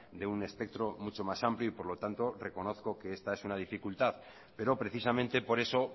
de un espectro mucho más amplio y por lo tanto reconozco que esta es una dificultad pero precisamente por eso